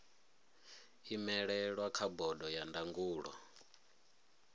imelelwa kha bodo ya ndangulo